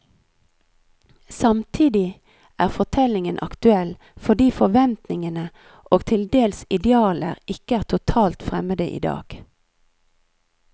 Samtidig er fortellingen aktuell, fordi forventningene og til dels idealer ikke er totalt fremmede idag.